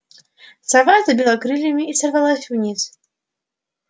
сова забила крыльями и сорвалась вниз